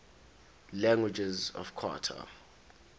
languages of qatar